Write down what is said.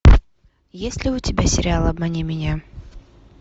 есть ли у тебя сериал обмани меня